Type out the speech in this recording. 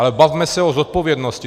Ale bavme se o zodpovědnosti.